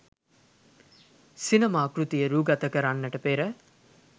සිනමා කෘතිය රූගත කරන්නට පෙර